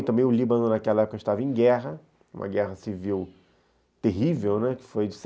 E também o Líbano, naquela época, estava em guerra, uma guerra civil terrível, né.